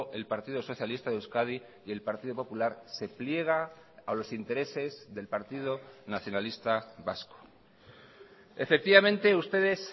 el partido socialista de euskadi y el partido popular se pliega a los intereses del partido nacionalista vasco efectivamente ustedes